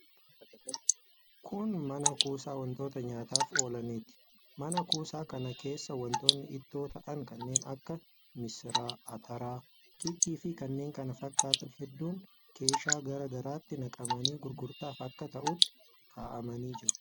Kun mana kuusaa wantoota nyaataaf oolaniiti. Mana kuusaa kana keessa wantoonni ittoo ta'an kanneen akka missira, atara, kiikkiifi kanneen kana fakkaatan hedduun keeshaa garaa garaatti naqamanii gurgurtaaf akka ta'utti kaa'amanii jiru.